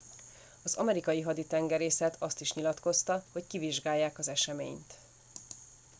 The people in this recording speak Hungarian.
az amerikai haditengerészet azt is nyilatkozta hogy kivizsgálják az eseményt